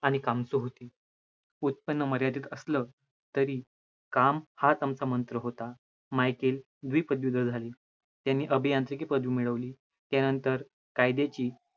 आणि काम उत्पन्न मर्यादित असलं तरी काम हाच आमचा मंत्र होता, द्विपदवीधर झाली, त्यांनी अभियांत्रिकी पदवी मिळवली, त्यानंतर कायद्याची